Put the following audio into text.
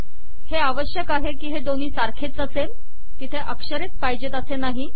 हे आवश्यक आहे की हे दोन्ही सारखेच असेल तिथे अक्षरेच पाहिजेत असे नाही